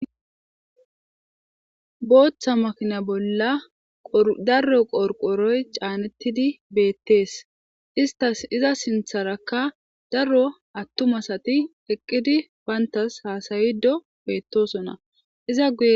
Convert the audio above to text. Bootha makina bolla daro qorqoroy canetidi beetes. Iza sintharaka daro attuma asti eqidi nantas hasayido betosona.